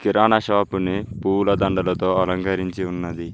కిరాణా షాపుని పూల దండలతో అలంకరించి ఉన్నది.